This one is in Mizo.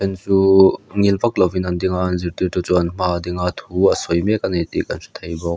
chu chuh ngil vak lovin an ding a an zirtirtu chu an hmaah a ding a thu a sawi mek a ni tih kan hre thei bawk.